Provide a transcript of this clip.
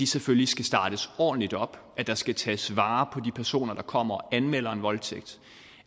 selvfølgelig skal startes ordentligt op at der skal tages vare på de personer der kommer og anmelder en voldtægt